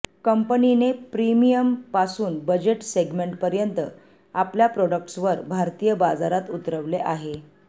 कंपनीने प्रीमियम पासून budget segment पर्यंत आपल्या प्रोडक्ट्सवर भारतीय बाजारात उतरवले आहे